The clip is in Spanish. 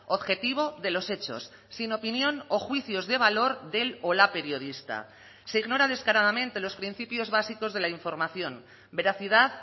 objetivo de los hechos sin opinión o juicios de valor del o la periodista se ignora descaradamente los principios básicos de la información veracidad